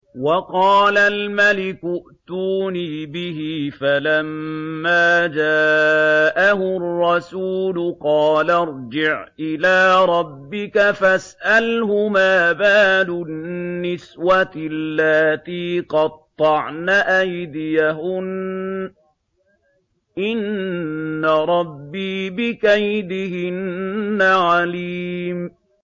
وَقَالَ الْمَلِكُ ائْتُونِي بِهِ ۖ فَلَمَّا جَاءَهُ الرَّسُولُ قَالَ ارْجِعْ إِلَىٰ رَبِّكَ فَاسْأَلْهُ مَا بَالُ النِّسْوَةِ اللَّاتِي قَطَّعْنَ أَيْدِيَهُنَّ ۚ إِنَّ رَبِّي بِكَيْدِهِنَّ عَلِيمٌ